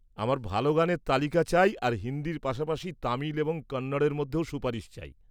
আমার ভালো গানের তালিকা চাই আর হিন্দির পাশাপাশি তামিল এবং কন্নড়ের মধ্যেও সুপারিশ চাই।